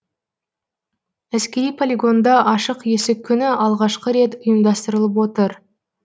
әскери полигонда ашық есік күні алғашқы рет ұйымдастырылып отыр